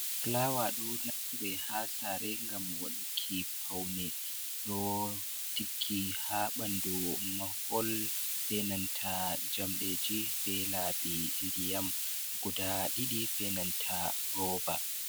Fulawa ɗo naftire ha sare ngam waɗuki pawne, ɗo diggi ha ɓandu mahol, benanta jamɗeji, be laɓi ndiyam guda ɗiɗi benanta rooba.